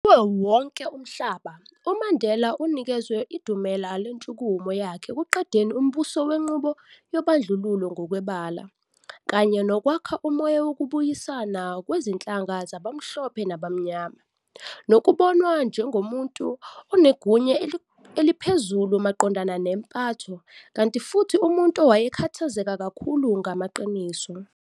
Kuwo wonke umhlaba, uMandela unikezwe idumela lentshukumo yakhe ekuqedeni umbuso wenqubo yobandlululo ngokwebala, kanye nokwakha umoya wokubuyisasna kwezinhlanga zabamhlophe nabamnyama, nokubonwa njengomuntu onegunya eliphezulu maqondana nempatho, kanti futhi umuntu owayekhathazeka kakhulu ngamaqiniso.